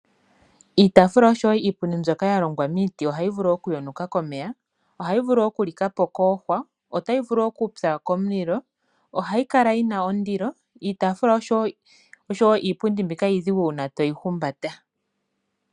Iitaafula nosho woo iipundi mbyoka yalongwa momiti ohayi vulu oku yonuka komeya, ohayi vulu oku likapo kuuhwa, otayi vulu okupya komulilo ohayi kala yina ondilo iitafula osho woo iipundi mbika iidhigu uuna weyi umbata.